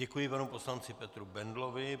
Děkuji panu poslanci Petru Bendlovi.